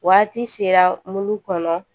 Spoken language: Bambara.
Waati sera mulu kɔnɔ